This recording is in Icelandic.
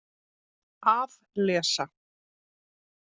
Að lesa?